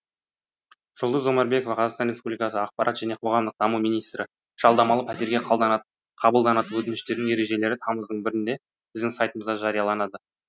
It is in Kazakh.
жұлдыз омарбекова қазақстан республикасы ақпарат және қоғамдық даму министрі жалдамалы пәтерге қабылданатын өтініштердің ережелері тамыздың бірінде біздің сайтымызда жарияланады